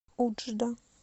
уджда